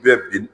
Bɛɛ bin